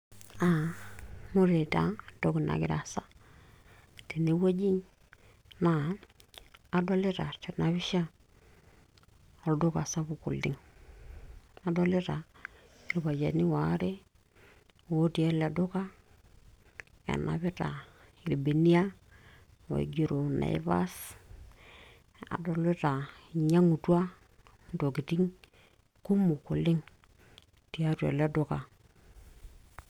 aa ore taa entoki nagira aasa tene wueji naa adolita tena pisha olduka sapuk oleng adolita irpayiani waare otii ele duka enapita irbenia oigero naivas adolita inyiang'utua intokitin kumok oleng tiatu ele duka.